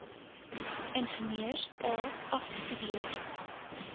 ingenieurs a afgestudeer